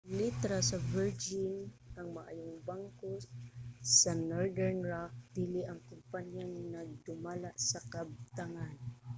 gipalit ra sa virgin ang 'maayong bangko' sa northern rock dili ang kompanyang nagdumala sa kabtangan